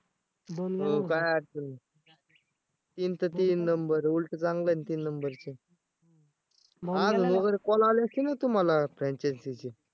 काय अडचण नाही. तीनचं तीन number उलटं चांगलं आहे ना तीन number च call आले असतील ना तुम्हाला franchise ची